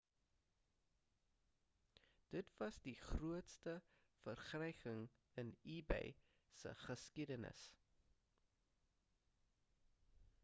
dit was die grootste verkryging in ebay se geskiedenis